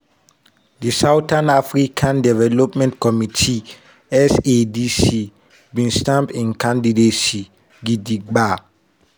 di southern african development community (sadc) bin stamp im candidacy gidiba.